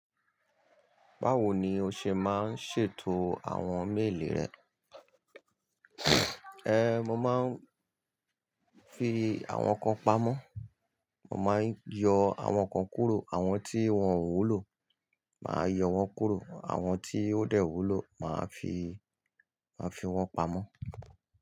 Báwo ni o ṣe máa ń ṣètò àwọn méèlì rẹ? Ẹ̀, mo máa ń fi àwọn kan pamọ́, mo máa ń yọ àwọn kan kúrò, àwọn tí wọ́n ò wúlò, màá yọ wọ́n kúrò. Àwọn tí ó dẹ̀ wúlò, màá fi, màá fi wọ́n pamọ́.